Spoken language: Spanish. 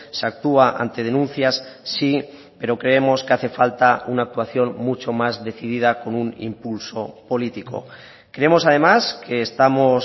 se actúa ante denuncias sí pero creemos que hace falta una actuación mucho más decidida con un impulso político creemos además que estamos